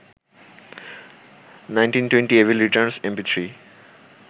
1920 evil returns mp3